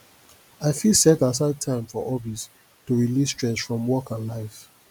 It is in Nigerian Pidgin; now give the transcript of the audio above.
i fit set aside time for hobbies to relieve stress from work and life